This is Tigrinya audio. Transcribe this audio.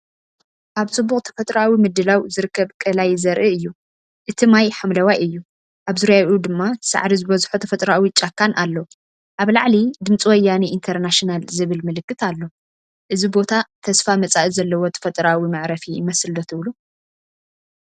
ኣብ ጽቡቕ ተፈጥሮኣዊ ምድላው ዝርከብ ቀላይ ዘርኢ እዩ። እቲ ማይ ሓምላይ እዩ፣ ኣብ ዙርያኡ ድማ ሳዕሪ ዝበዝሖ ተፈጥራዊ ጫካን ኣሎ። ኣብ ላዕሊ“ድምፂ ወያነ ኢትርናሽናል” ዝብል ምልክት ኣሎ። እዚ ቦታ ተስፋ መጻኢ ዘለዎ ተፈጥሮኣዊ መዕረፊ ይመስል ዶ ትብሉ?